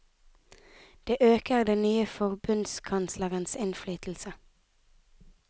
Det øker den nye forbundskanslerens innflytelse.